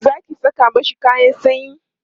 Zaki Saka mashi kayan sanyi?